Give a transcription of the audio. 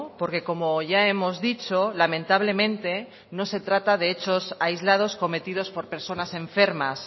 porque como ya hemos dicho lamentablemente no se trata de hechos aislados cometidos por personas enfermas